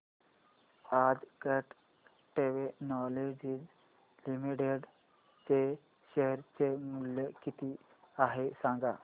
आज Cat Technologies Limited चे share चे मूल्य किती आहे सांगा